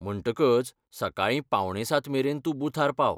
म्हणटकच सकाळी पावणे सात मेरेन तूं बुथार पाव.